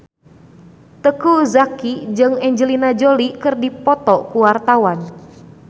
Teuku Zacky jeung Angelina Jolie keur dipoto ku wartawan